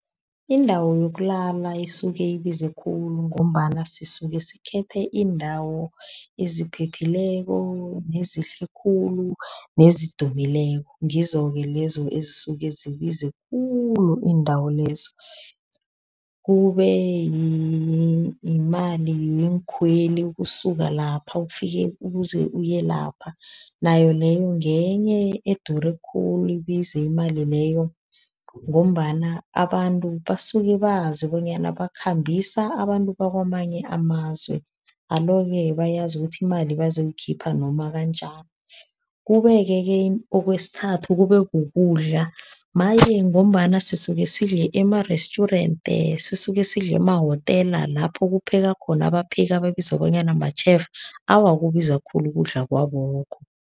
Indawo yokulala isuke ibize khulu ngombana sisuke sikhethe iindawo eziphephileko nezihle khulu, nezidumileko. Ngizo-ke lezo ezisuke zibize khulu iindawo lezo. Kube yimali ngeenkhweli ukusuka lapha ukufike, ukuze uyelapha, nayo leyo ngenye edure khulu, ibize imali leyo. Ngombana abantu basuke bazi bonyana bakhambisa abantu bakwamanye amazwe. Alo-ke bayazi ukuthi imali bazoyikhipha noma kanjani. Kubeke-ke okwesithathu kube kukudla, maye ngombana sisuke sidle ema-restaurant, sisuke sidle emahotela lapho kupheka khona abapheki ababizwa bonyana ma-chef. Awa kubiza khulu ukudla kwabokho.